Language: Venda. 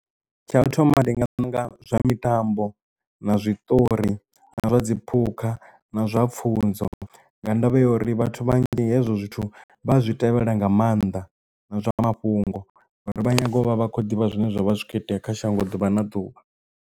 Tsha u thoma ndi nga ṋanga zwa mitambo na zwiṱori na zwa dziphukha na zwa pfunzo nga ndavha ya uri vhathu vhanzhi hezwo zwithu vha zwi tevhelela nga maanḓa na zwa nga mafhungo ngori vha nyago u vha vha khou ḓivha zwine zwavha zwi kho itea kha shango ḓuvha na ḓuvha.